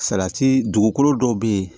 Salati dugukolo dɔw be yen